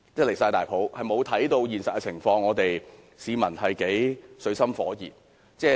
他們沒有注意現實的情況，不知市民活在水深火熱中。